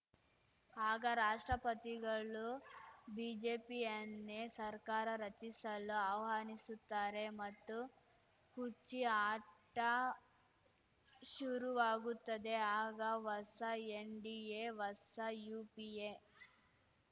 ಆಗ ರಾಷ್ಟ್ರಪತಿಗಳು ಬಿಜೆಪಿಯನ್ನೇ ಸರ್ಕಾರ ರಚಿಸಲು ಆಹ್ವಾನಿಸುತ್ತಾರೆ ಮತ್ತು ಕುರ್ಚಿ ಆಟ ಶುರುವಾಗುತ್ತದೆ ಆಗ ಹೊಸ ಎನ್‌ಡಿಎ ಹೊಸ ಯುಪಿಎ